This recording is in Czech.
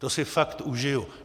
To si fakt užiju.